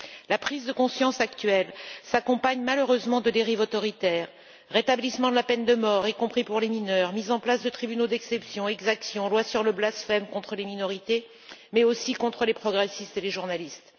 La prise de conscience actuelle s'accompagne malheureusement de dérives autoritaires rétablissement de la peine de mort, y compris pour les mineurs, mise en place de tribunaux d'exception, exactions, loi sur le blasphème contre les minorités, mais aussi contre les progressistes et les journalistes.